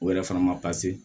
O yɛrɛ fana ma